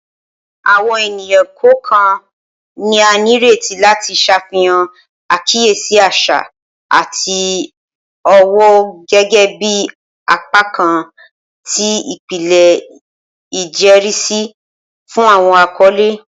Awọn eniyan kọọkan ni a nireti lati ṣafihan akiyesi aṣa ati ọwọ gẹgẹbi apakan ti ipilẹ ijẹrisi fun awọn akọle.